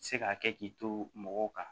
Se ka kɛ k'i to mɔgɔw kan